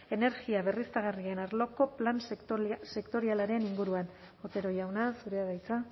energia berriztagarrien arloko plan sektorialaren inguruan otero jauna zurea da hitza